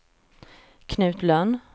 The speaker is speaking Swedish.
Knut Lönn